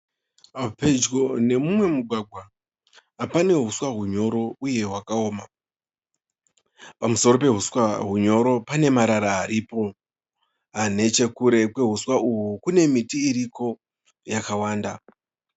Pedyo nemumwe mugwagwa pane huswa hunyoro uye hwakaoma. Pamusoro pehuswa hunyoro pane marara aripo. Nechekure kwehuswa uhu kune miti iriko yakawanda.